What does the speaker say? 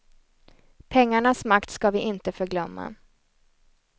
Pengarnas makt ska vi inte förglömma.